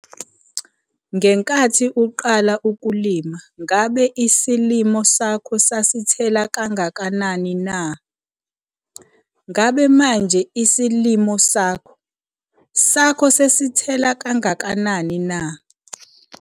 Ngenkathi uqala ukulima ngabe isilimo sakho sasithela kangakanani na? Ngabe manje isilimo sakho sakho sesithela kangakanani na?